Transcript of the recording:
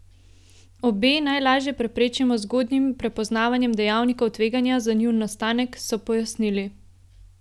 Obe najlažje preprečimo z zgodnjim prepoznavanjem dejavnikov tveganja za njun nastanek, so pojasnili.